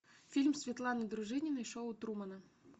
фильм светланы дружининой шоу трумана